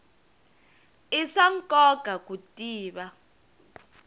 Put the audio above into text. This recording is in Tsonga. i swa nkoka ku tiva